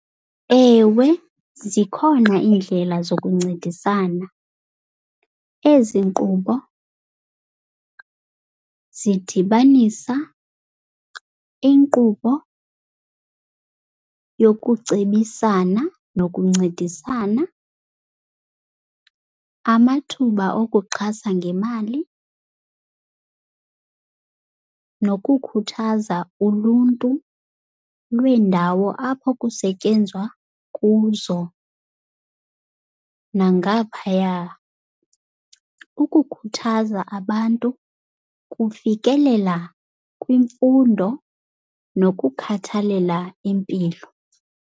Ewe, zikhona iindlela zokuncedisana. Ezi nkqubo zidibanisa inkqubo yokucebisana nokuncedisana, amathuba okuxhasa ngemali nokukhuthaza uluntu lweendawo apho kusetyenzwa kuzo nangaphaya, ukukhuthaza abantu kufikelela kwimfundo nokukhathalela impilo.